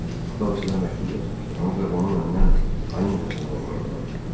Atam sizə məktub yazmışdı, ancaq onu məndən xaincəsinə oğurladılar.